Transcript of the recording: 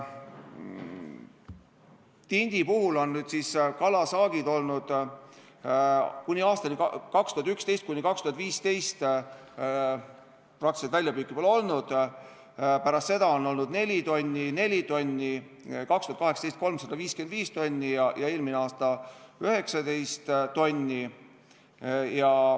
Tindi puhul on kalasaagid olnud sellised, et aastateni 2011–2015 praktiliselt väljapüüki ei olnud, pärast seda on olnud 4 tonni ja 4 tonni, 2018 oli 355 tonni ja eelmine aasta 19 tonni.